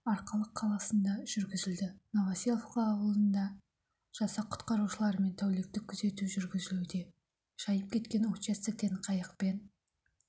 арқалық қаласында жүргізілді новоселовка ауылында жасақ құтқарушыларымен тәуліктік күзету жүргізілуде шайып кеткен участоктен қайықпен